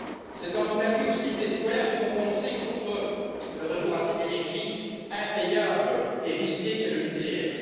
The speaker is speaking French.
C'est en Italie, aussi, que les citoyens se sont prononcés contre le retour à cette énergie impayable et risquée qu'est le nucléaire.